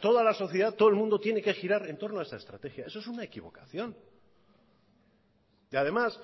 toda la sociedad todo el mundo tiene que girar entorno a esa estrategia eso es una equivocación y además